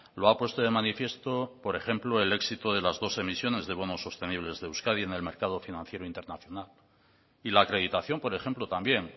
lo ha puesto de manifiesto por ejemplo el éxito de las dos emisiones de bonos sostenibles de euskadi en el mercado financiando internacional y la acreditación por ejemplo también